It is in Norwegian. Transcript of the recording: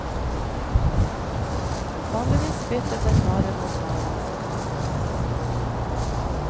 Vanligvis byttet en vare mot vare.